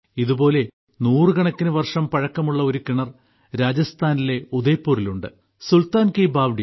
ഇതുപോലെ നൂറുകണക്കിന് വർഷം പഴക്കമുള്ള ഒരു കിണർ രാജസ്ഥാനിലെ ഉദയ്പൂരിൽ ഉണ്ട് സുൽത്താൻ കി ബാവടി